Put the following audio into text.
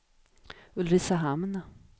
Ulricehamn